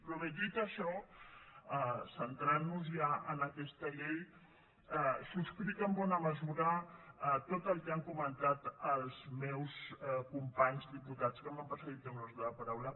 però bé dit això centrant nos ja en aquesta llei subscric en bona mesura tot el que han comentat els meus companys diputats que m’han precedit en l’ús de la paraula